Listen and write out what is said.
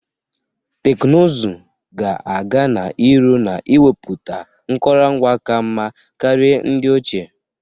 Teknụzụ ga-aga n'iru na enwepụta nkụrụngwa ka mma karịa ndị ochie.